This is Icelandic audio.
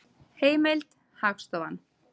Heimild: Hagstofan.